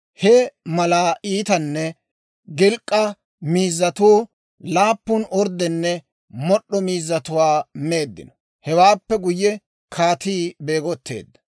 He malaa iitanne gilk'k'a miizzatuu laappun orddanne mod'd'o miizzatuwaa meeddino. Hewaappe guyye kaatii beegotteedda.